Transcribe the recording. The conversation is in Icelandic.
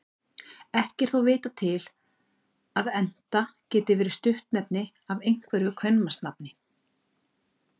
Ekki er þó vitað til að Enta geti verið stuttnefni af einhverju kvenmannsnafni.